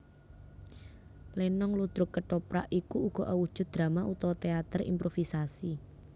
Lenong ludruk kethoprak iku uga awujud drama utawa téater improvisasi